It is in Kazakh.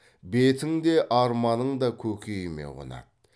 бетің де арманың да көкейіме қонады